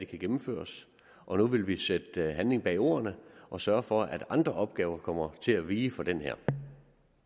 kan gennemføres og nu vil vi sætte handling bag ordene og sørge for at andre opgaver kommer til at vige for den her